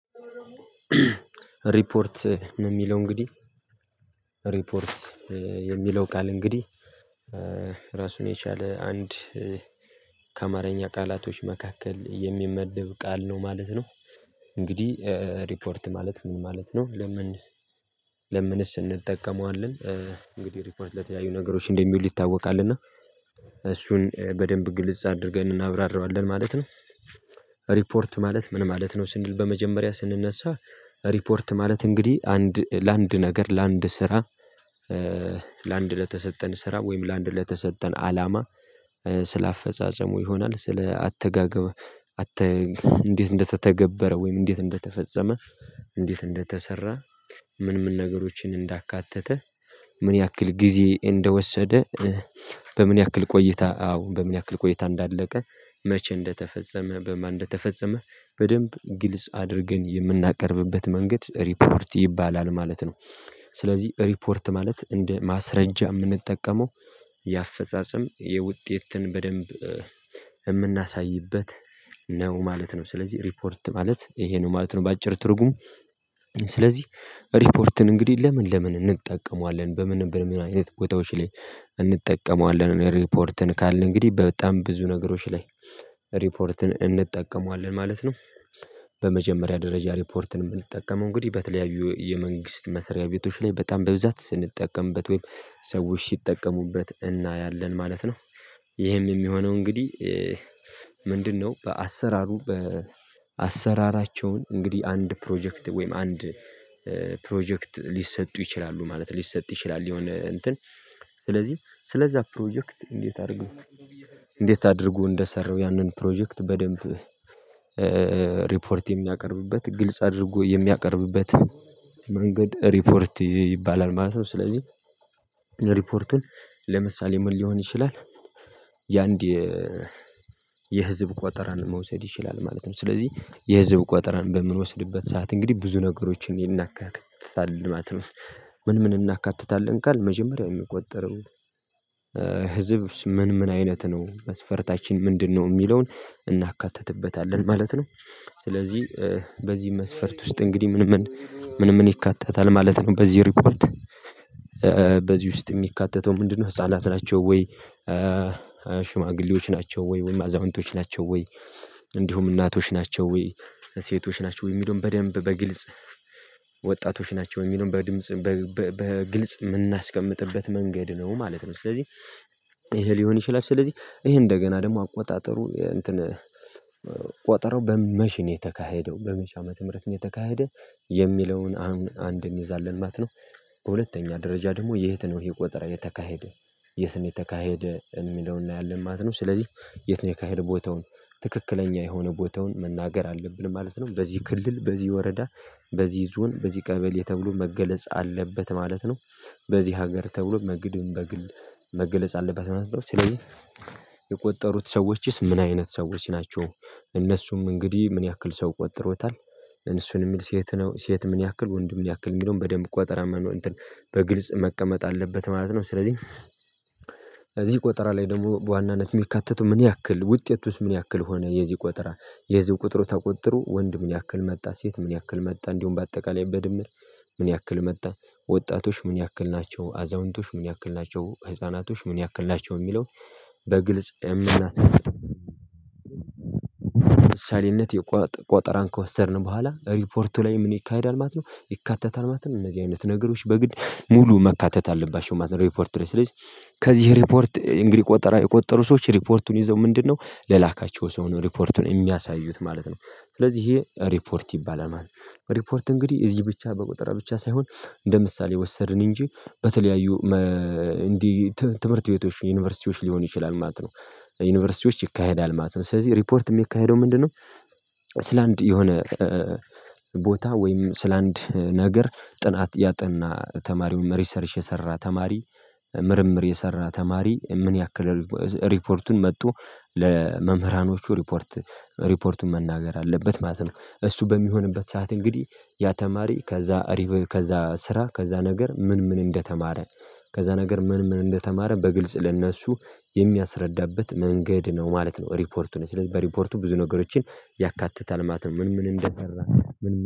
ሪፖርት የሚለው እንግዲህ ሪፖርት የሚለው ቃል እንግዲህ ራሱን የቻለ አንድ ከአማርኛ ቃላቶች መካከል የሚመደብ ቃል ነው ማለት ነው። እንግዲህ ሪፖርት ማለት ምን ማለት ነው? ለምን ለምንስ እንጠቀመዋለን? እንግዲህ ሪፖርት ለተለያዩ ነገሮች እንደሚሉ ይታወቃል። እና እሱን በደንብ ግልጽ አድርገን እናብራራዋለን ማለት ነው። ሪፖርት ማለት ምን ማለት ነው? ስንል በመጀመሪያ ስንነሳ ሪፖርት ማለት እንግዲህ አንድ ለአንድ ነገር ለአንድ ስራ ለአንድ ለተሰጠን ስራ ወይም ለአንድ ለተሰጠን አላማ ስለ አፈጻጸሙ ይሆናል ስለ አተጋገብ እንዴት እንደተተገበረ ወይም እንዴት እንደተፈጸመ፣ እንዴት እንደተሰራ ምን ምን ነገሮችን እንዳካተተ፣ ምን ያክል ጊዜ እንደወሰደ፣ በምን ያክል ቆይታ አዎ በምን ያክል ቆይታ እንዳለቀ፣ መቼ እንደተፈጸመ፣ በማን እንደተፈጸመ በደንብ ግልጽ አድርገን የምናቀርብበት መንገድ ሪፖርት ይባላል ማለት ነው። ስለዚህ ሪፖርት ማለት እንደ ማስረጃ የምንጠቀመው የአፈጻጸም የውጤትን በደንብ የምናሳይበት ነው ማለት ነው። ስለዚህ ሪፖርት ማለት ይሄ ነው ማለት ነው በአጭር ትርጉም ስለዚህ ሪፖርትን እንግዲህ ለምን ለምን እንጠቀመዋለን በምን በምን አይነት ቦታዎች ላይ እንጠቀመዋለን ሪፖርትን? ካልን እንግዲህ በጣም ብዙ ነገሮች ላይ ሪፖርትን እንጠቀመዋለን ማለት ነው። በመጀመሪያ ደረጃ ሪፖርትን የምንጠቀመው እንግዲህ በተለያዩ የመንግስት መስሪያ ቤቶች ላይ በጣም በብዛት ስንጠቀምበት ወይም ሰዎች ሲጠቀሙበት እናያለን ማለት ነው። ይህም የሚሆነው እንግዲህ ምንድነው በአሰራሩ በአሰራራቸውን እንግዲህ አንድ ፕሮጀክት ወይም አንድ ፕሮጀክት ሊሰጡ ይችላሉ ማለት ነው። ሊሰጡ ይችላሉ የሆነ እንትን ስለዚህ ስለዛ ፕሮጀክት እንዴት አድርጎ እንዴት አድርጎ እንደሰራው ያንን ፕሮጀክት በደንብ ሪፖርት የሚያቀርብበት ግልጽ አድርጎ የሚያቀርብበት መንገድ ሪፖርት ይባላል ማለት ነው። ስለዚህ ሪፖርቱን ለምሳሌ ምን ሊሆን ይችላል የአንድ የህዝብ ቆጠራን መውሰድ ይችላል ማለት ነው። ስለዚህ የህዝብ ቆጠራን በምንወስድበት ሰዓት እንግዲህ ብዙ ነገሮችን ይናካትታል ማለት ነው። ምን ምን እናካትታለን ካልን መጀመሪያ የሚቆጠረው ህዝብ ምን ምን አይነት ነው? መስፈርታችን ምንድነው? የሚለውን እናካተትበታለን ማለት ነው። ስለዚህ በዚህ መስፈርት ውስጥ እንግዲህ ምንምን ምንምን ይካተታል ማለት ነው በዚህ ሪፖርት? በዚህ ውስጥ የሚካተተው ምንድነው፥ ህፃናት ናቸው ወይ? ሽማግሌዎች ናቸው ወይ? ወይም አዛንቶች ናቸው ወይ? እንዲሁም እናቶች ናቸው ወይ? ሴቶች ናቸው ወይ? የሚለውን በደንብ በግልጽ ወጣቶች ናቸው የሚለውን በድምጽ በግልጽ የምናስቀምጥበት መንገድ ነው ማለት ነው። ስለዚህ ይሄ ሊሆን ይችላል። ስለዚህ ይሄ እንደገና ደግሞ አቆጣጠሩ እንትን ቆጠረው በመች ነው የተካሄደው? በመች አመት ምህረት ነው የተካሄደው? የሚለውን አሁን አንድ እንይዛለን ማለት ነው። በሁለተኛ ደረጃ ደግሞ የት ነው ይሄ ቆጠራ የተካሄደ? የት ነው የተካሄደ? የሚለውን እናያለን ማለት ነው። ስለዚህ የት ነው የተካሄደ ቦታውን ትክክለኛ የሆነ ቦታውን መናገር አለብን ማለት ነው። በዚህ ክልል በዚህ ወረዳ በዚህ ዞን በዚህ ቀበሌ ተብሎ መገለጽ አለበት ማለት ነው። በዚህ ሀገር ተብሎ መግደም በግል መገለጽ አለበት ማለት ነው። ስለዚህ የቆጠሩት ሰዎችስ ምን አይነት ሰዎች ናቸው? እነሱም እንግዲህ ምን ያክል ሰው ቆጥሮታል? እነሱን የሚል ሴት ነው? ሴት ምን ያክል ወንድም ያክል የሚለውን በደንብ ቆጠራ መኖር እንትን በግልጽ መቀመጥ አለበት ማለት ነው። ስለዚህ ቆጠራ ላይ ደግሞ በዋናነት የሚካተተው ምን ያክል ውጤቱስ ምን ያክል ሆነ የዚህ ቁጥራ? የህዝብ ቁጥሩ ተቆጥሮ ወንድ ምን ያህል መጣ? ሴት ምን ያህል መጣ? እንዲሁም በአጠቃላይ በድምር ምን ያህል መጣ? ወጣቶች ምን ያክል ናቸው? አዛውንቶች ምን ያክል ናቸው? ህፃናቶች ምን ያክል ናቸው? የሚለው በግልጽ የምናይበት ለምሳሌነት የቆጠራን ከወሰድን በኋላ ሪፖርቱ ላይ ምን ይካሄዳል ማለት ነው? ይካተታል ማለት ነው? እነዚህ አይነት ነገሮች በግልጽ ሙሉ መካተት አለባቸው ማለት ነው ሪፖርት ላይ። ስለዚህ ከዚህ ሪፖርት እንግዲህ ቆጠራ የቆጠሩ ሰዎች ሪፖርቱን ይዘው ምንድነው? ለላካቸው ሰው ነው ሪፖርቱን የሚያሳዩት ማለት ነው። ስለዚህ ይሄ ሪፖርት ይባላል ማለት ነው። ሪፖርት እንግዲህ እዚህ ብቻ በቆጠር ብቻ ሳይሆን እንደ ምሳሌ ወሰድን እንጂ በተለያዩ እንዲህ ትምህርት ቤቶች ዩኒቨርሲቲዎች ሊሆን ይችላል ማለት ነው። ዩኒቨርሲቲዎች ይካሄዳል ማለት ነው። ስለዚህ ሪፖርት የሚካሄደው ምንድነው ስለ አንድ የሆነ ቦታ ወይም ስለ ስለአንድ ነገር ጥናት ያጠና ተማሪውን ሪሰርች የሰራ ተማሪ ምርምር የሰራ ተማሪ ምን ያክል ሪፖርቱን መጦ ለመምህራኖቹ ሪፖርት ሪፖርቱን መናገር አለበት ማለት ነው። እሱ በሚሆንበት ሰዓት እንግዲህ ያ ተማሪ ከዛ እሪብ ከዛ ስራ ከዛ ነገር ምን ምን እንደተማረ ከዛ ነገር ምን ምን እንደተማረ በግልጽ ለእነሱ የሚያስረዳበት መንገድ ነው ማለት ነው ሪፖርቱን። ስለዚህ በሪፖርቱ ብዙ ነገሮችን ያካትታል ማለት ነው። ምን ምን እንደሰራ